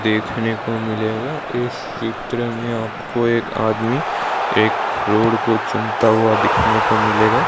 देखने को मिलेगा इस चित्र में आपको एक आदमी एक रोड़ को चूमता हुआ दिखने को मिलेगा।